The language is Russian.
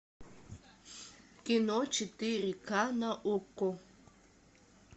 кино четыре ка на окко